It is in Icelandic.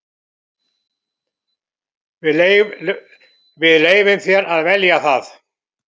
Við leyfum þér að velja það.